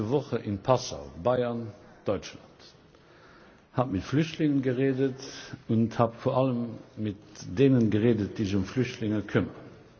Ich war letzte Woche in Passau Bayern, Deutschland habe mit Flüchtlingen geredet und habe vor allem mit denen geredet, die sich um Flüchtlinge kümmern.